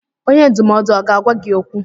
Onye ndụmọdụ aga-agwa gị okwu?